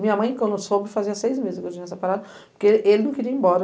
Minha mãe, quando soube, fazia seis meses que eu tinha essa parada, porque ele não queria ir embora.